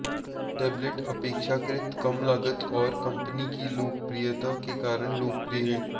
tablet अपेक्षाकृत कम लागत और कंपनी की लोकप्रियता के कारण लोकप्रिय है